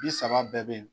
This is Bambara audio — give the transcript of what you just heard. Bi saba bɛɛ bɛ yen